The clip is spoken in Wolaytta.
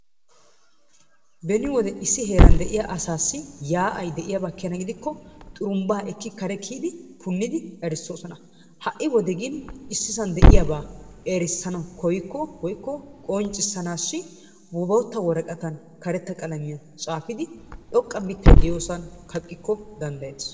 Beni wode issi heeran de'iya asaassi yaa'ay de'iyaaba keena gidikko xurumbbaa ekkidi kare kiiyidi punidi erisoosona. Ha'i wode gin issisaan de'iyaaba erissanwu kooyikko woykko qonccissanaassi bootta woraqatan karetta qalamiyaan tsaafidi xooqqa mittay de'iyoosan kaaqqiko danddayettees.